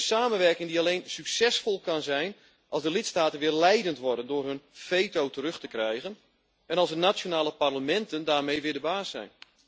Een samenwerking die alleen succesvol kan zijn als de lidstaten weer leidend worden door hun veto terug te krijgen en als de nationale parlementen daarmee weer de baas zijn.